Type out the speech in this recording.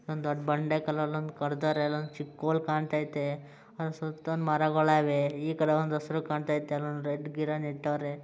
ಒಂದು ದೊಡ್ಡ ಬಂಡೆ ಕಾಲಲ್ಲಿ ಕಟ್ಟಿದ್ದಾರೆ ಚಿಕ್ಕು ಹೋಲು ಕಾಣ್ತಾ ಇದೆ ಅದರ ಸುತ್ತ ಮರಗಳು ಇದೆ ಇತರ ಒಂದು ಹಸಿರು ಕಾಣ್ತಾ ಇದೆ ಗಿಡ ನಿಟ್ಟವ್ರೆ.